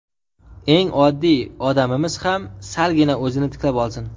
Eng oddiy odamimiz ham salgina o‘zini tiklab olsin.